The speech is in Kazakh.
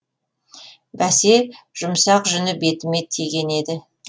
бәсе жұмсақ жүні бетіме тиген еді